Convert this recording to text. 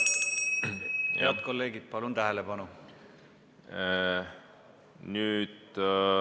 Head kolleegid, palun tähelepanu!